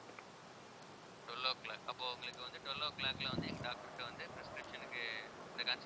twelve o'clock அப்போ உங்களுக்கு வந்து twelve o' clock ல வந்து எங்க doctor கிட்ட வந்து prescription க்கு இந்த